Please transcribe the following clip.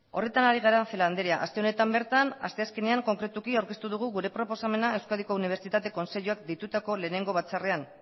horretan ari gara celaá anderea aste honetan bertan asteazkenean konkretuki aurkeztu dugu gure proposamena euskadiko unibertsitate kontseiluak deitutako lehenengo batzarrean